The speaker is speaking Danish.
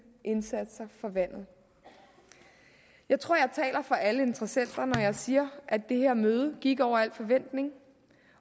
indsatser for vandet jeg tror jeg taler for alle interessenter når jeg siger at det her møde gik over al forventning